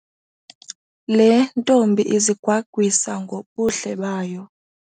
Le ntombi izigwagwisa ngobuhle bayo.